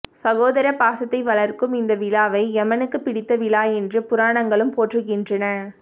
சகோதர பாசத்தை வளர்க்கும் இந்த விழாவை எமனுக்குப் பிடித்த விழா என்று புராணங்களும் போற்றுகின்றன